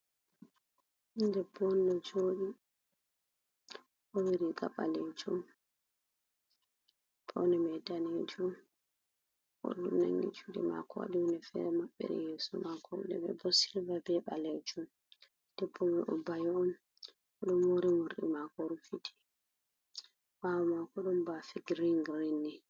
Bingel ɗebbo on ɗo jodi. Owaɗi riga balejum, paune mai ɗanejum, onangi jude mako waɗi hunɗe fere mabbiri yeso mako. Nɗe mai bo silva be balelejum. Ɗebbo mai o bayo on o bayi on. Oɗo mori murɗi mako rufiti. Bawo mako ɗon bafe girin girin ni.